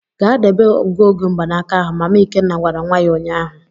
Gaa debe ngụoge mgbanaka ahụ! Mama Ikenna gwara nwa ya ụnyahụ.